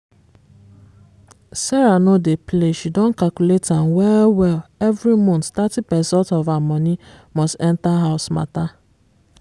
sarah no dey play she don calculate am well-well every month thirty percent of her money must enter house matter.